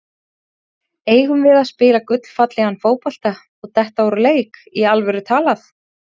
Eigum við að spila gullfallegan fótbolta og detta úr leik, í alvöru talað?